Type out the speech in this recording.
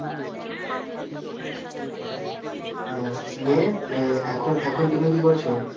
হ্যাঁ নিয়ে আহ এখন এখন তুমি কি করছ?